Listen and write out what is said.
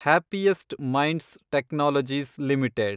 happiest Minds Technologies limited